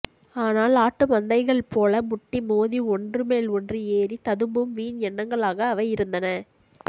ஆனால் ஆட்டுமந்தைகள் போல முட்டி மோதி ஒன்று மேல் ஒன்று ஏறி ததும்பும் வீண் எண்ணங்களாக அவை இருந்தன